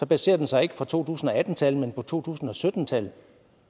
baserer den sig ikke på to tusind og atten tal men på to tusind og sytten tal